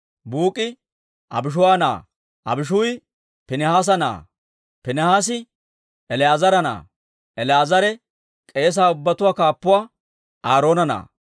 Buuk'i Abishuu'a na'aa; Abishuu'i Piinihaasa na'aa; Piinihaasi El"aazara na'aa; El"aazare k'eese ubbatuwaa kaappuwaa Aaroona na'aa.